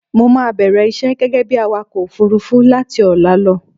Mo máa bẹ̀rẹ̀ iṣẹ́ gẹ́gẹ́ bí awakọ òfurufú láti ọ̀la lọ.